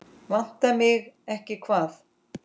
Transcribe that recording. Vantar mig ekki hvað?